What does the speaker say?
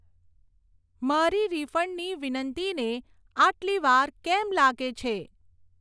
મારી રીફંડની વિનંતીને આટલી વાર કેમ લાગે છે?